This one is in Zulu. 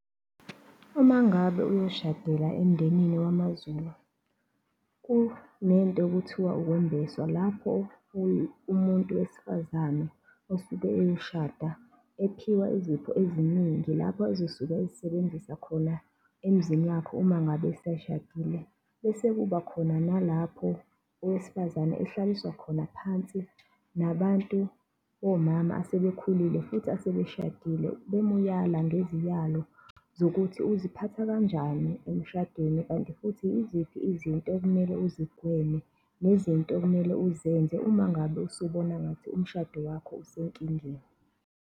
Uma ngabe uyoshadela emndenini wamaZulu, kunento ekuthiwa ukwembeswa, lapho umuntu wesifazane osuke eyoshada ephiwa izipho eziningi lapho ezosuka ezisebenzisa khona emzini wakhe uma ngabe seshadile. Bese kuba khona nalapho owesifazane ehlaliswa khona phansi nabantu omama asebekhulile futhi asebeshadile bemuyala ngeziyalo zokuthi, uziphatha kanjani emshadweni kanti futhi iziphi izinto ekumele uzigweme nezinto okumele uzenze uma ngabe usubona ngathi umshado wakho usenkingeni.